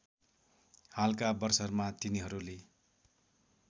हालका वर्षहरूमा तिनीहरूले